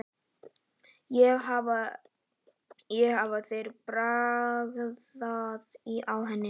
En hafa þeir bragðað á henni?